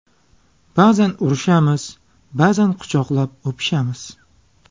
Ba’zan urishamiz, ba’zan quchoqlab o‘pishamiz.